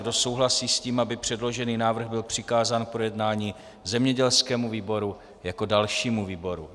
Kdo souhlasí s tím, aby předložený návrh byl přikázán k projednání zemědělskému výboru jako dalšímu výboru?